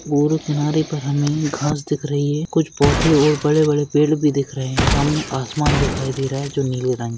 और किनारे पर हमें घास दिख रही है कुछ पौधे और बड़े बड़े पेड़ भी दिख रहे है सामने आसमान दिखाई दे रहा है जो नीले रंग--